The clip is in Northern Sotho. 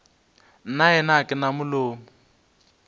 nnaena ga ke na molomo